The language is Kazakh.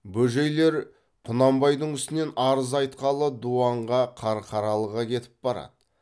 бөжейлер құнанбайдың үстінен арыз айтқалы дуанға қарқаралыға кетіп барады